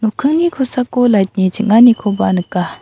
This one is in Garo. okkingni kosako lait ni ching·anikoba nika.